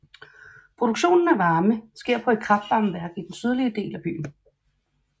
Produktionen af varme sker på et kraftvarmeværk i den sydlige del af byen